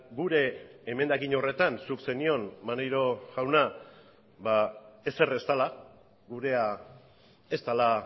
gure emendakin horretan zuk zenion maneiro jauna ezer ez dela gurea ez dela